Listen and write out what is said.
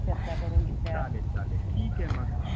चालेल चालेल ठीक आहे मग, अच्छा.